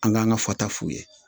An k'an ka fataf'u ye